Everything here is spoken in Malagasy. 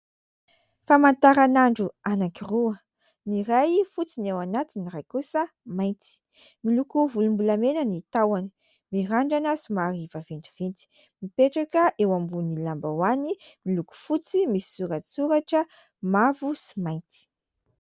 Famantaran'andro anankiroa, ny iray fotsy ny ao anatiny iray kosa mainty. Miloko volom-bolamena ny tahony, mirandrana somary vaventiventy. Mipetraka eo ambony lambahoany miloko fotsy misy soratsoratra mavo sy mainty.